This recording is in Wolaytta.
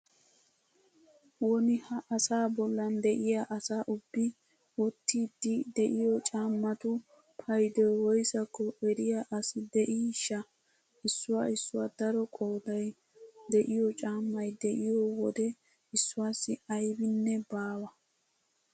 Woni ha asaa bollan de'iya asa ubbi wottiiddi de'iyo caammatu paydoy woysakko eriya asi de'iishsha! issuwa issuwa daro qooday de'iyo caammay de'iyo wode issuwassi aybinne baawa.